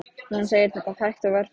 Hún segir þetta hægt og varfærnislega.